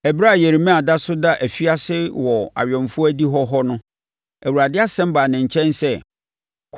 Ɛberɛ a Yeremia da so da afiase wɔ awɛmfoɔ adihɔ hɔ no, Awurade asɛm baa ne nkyɛn sɛ,